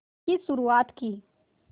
की शुरुआत की